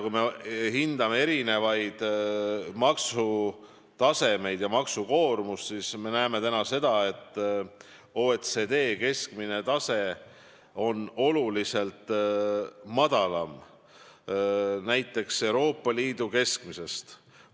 Kui me hindame maksutaset ja maksukoormust, siis me näeme seda, et OECD keskmine tase on praegu tunduvalt madalam näiteks Euroopa Liidu keskmisest.